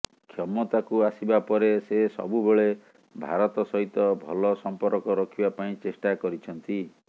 କ୍ଷମତାକୁ ଆସିବା ପରେ ସେ ସବୁବେଳେ ଭାରତ ସହିତ ଭଲ ସମ୍ପର୍କ ରଖିବା ପାଇଁ ଚେଷ୍ଟା କରିଛନ୍ତି